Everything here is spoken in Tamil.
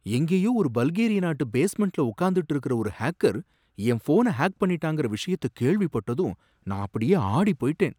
எங்கேயோ ஒரு பல்கேரிய நாட்டு பேஸ்மெண்ட்ல உக்காந்துக்கிட்டு இருக்குற ஒரு ஹேக்கர் என் ஃபோன ஹேக் பண்ணிட்டாங்கற விஷயத்த கேள்விப்பட்டதும் நான் அப்படியே ஆடி போயிட்டேன்.